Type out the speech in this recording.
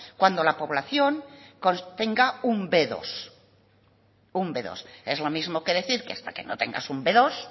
cuando la población contenga un be dos es lo mismo que decir que hasta que no tengas un be dos